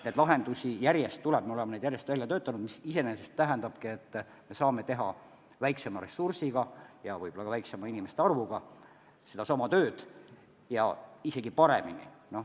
Neid lahendusi tuleb juurde, me oleme neid järjest välja töötanud, mis iseenesest tähendabki, et me saame hakkama väiksema ressursiga ja võib-olla ka väiksema inimeste arvuga, kusjuures seesama töö on tehtud isegi paremini.